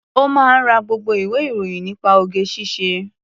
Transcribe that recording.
Ó máa ń ra gbogbo ìwé-ìròyìn nípa oge-ṣíṣe.